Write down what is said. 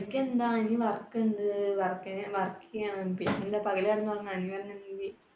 എനിക്കെന്താ ഇനി work ഉണ്ട്, work, work ചെയ്യണം. പിന്നെന്താ പകലു കിടന്നുറങ്ങും